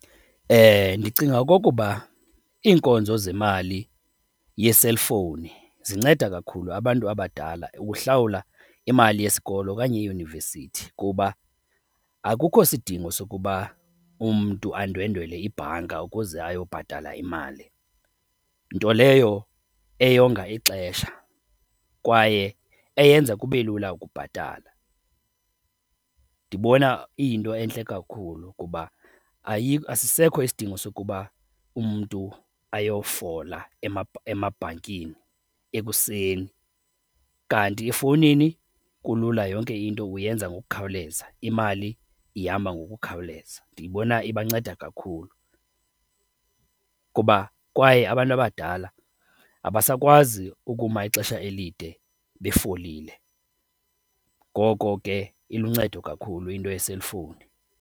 Ndicinga okokuba iinkonzo zemali yeselifowuni zinceda kakhulu abantu abadala ukuhlawula imali yesikolo okanye iyunivesithi kuba akukho sidingo sokuba umntu andwendwele ibhanka ukuze ayobhatala imali, nto leyo eyonga ixesha kwaye eyenza kube lula ukubhatala. Ndibona iyinto entle kakhulu kuba asisekho isidingo sokuba umntu ayofola emabhankini ekuseni, kanti efowunini kulula yonke into uyenza ngokukhawuleza, imali ihamba ngokukhawuleza. Ndiyibona ibanceda kakhulu kuba kwaye abantu abadala abasakwazi ukuma ixesha elide befolile, ngoko ke iluncedo kakhulu into yeselifowuni.